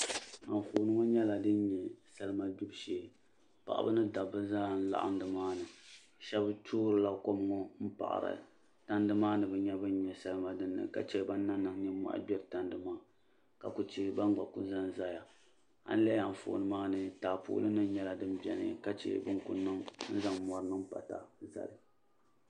Anfooni ŋɔ nyɛla din nyɛ salima gbibi shee paɣaba ni dabba zaa n laɣim ni maa ni Sheba toorila kom ŋɔ n paɣari tandi maa ni bɛ nya bin nyɛ salima dinni kache ban na niŋ ninmohi gbiri tandi maa ka kuli che ban gba kuli zanzaya alihi anfooni maa ni taapooli nyɛla din biɛni ka che bini kuli niŋ n zaŋ mori niŋ pata n zali.